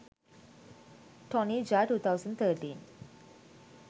tony jaa 2013